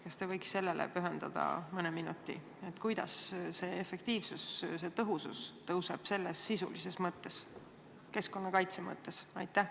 Kas te võiks pühendada mõne minuti selgitamiseks, kuidas selle töö efektiivsus kasvab sisulises mõttes, keskkonnakaitse mõttes?